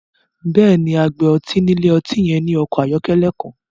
Bẹ́ẹ̀ni, agbè ọ̀tí ni ilẹ̀-ọ̀tí yẹn ni ọkọ ayọ̀kẹlẹ̀ kan